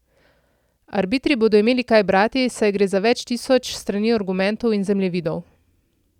Arbitri bodo imeli kaj brati, saj gre za več tisoč strani argumentov in zemljevidov.